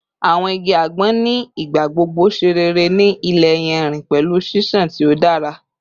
Awọn igi agbon ni igbagbogbo ṣe rere ni ile iyanrin pẹlu ṣiṣan ti o dara